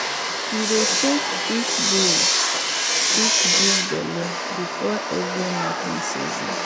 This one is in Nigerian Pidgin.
we dey check if bull fit give belle before every knacking season.